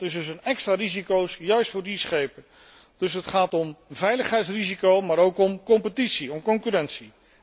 Dat is dus een extra risico, juist voor die schepen. Dus het gaat om veiligheidsrisico, maar ook om competitie, om concurrentie.